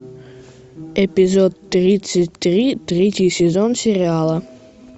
эпизод тридцать три третий сезон сериала